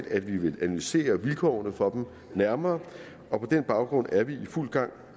at vi vil analysere vilkårene for dem nærmere på den baggrund er vi i fuld gang